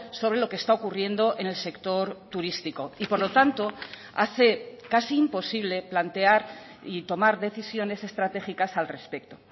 sobre lo que está ocurriendo en el sector turístico y por lo tanto hace casi imposible plantear y tomar decisiones estratégicas al respecto